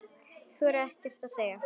Hún þorir ekkert að segja.